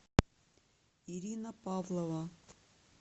ирина павлова